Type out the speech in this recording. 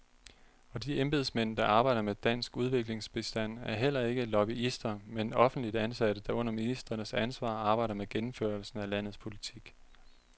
Og de embedsmænd, der arbejder med dansk udviklingsbistand er heller ikke lobbyister, men offentligt ansatte, der under ministerens ansvar arbejder med gennemførelsen af landets politik.